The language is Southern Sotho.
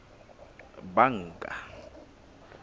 banka